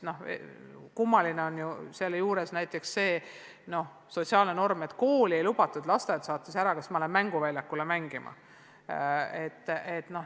Ja kummaline on selle juures näiteks see sotsiaalne norm, et kooli ei lubatud või lasteaed saatis tagasi, aga mänguväljakule mängima lähen ikka.